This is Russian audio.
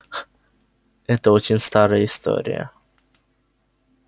это очень старая история